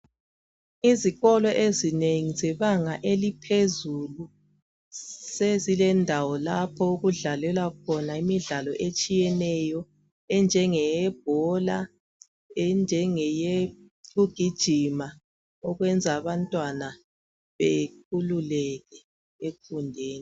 Izikolo ezinengi zebanga eliphezulu sezilendawo lapho okudlalelwa khona imidlalo etshiyeneyo enjenge yebhola enjenge yokugijima okwenza abantwana bekhululeke ekufundeni.